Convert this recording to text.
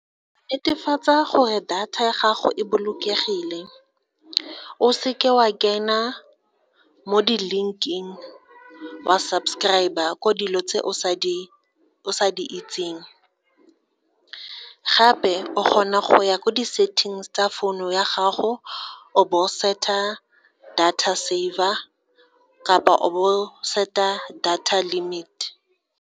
Netefatsa gore data ya gago e bolokegile o se ke wa kena mo di-link-ing wa subscribe-a ko dilo tse o sa di itseng, gape o kgona go ya ko di-settings tsa founu ya gago o bo o set-a data server kapa all set-a data limited.